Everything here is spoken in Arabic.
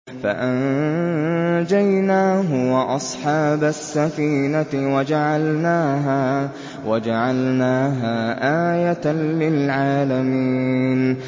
فَأَنجَيْنَاهُ وَأَصْحَابَ السَّفِينَةِ وَجَعَلْنَاهَا آيَةً لِّلْعَالَمِينَ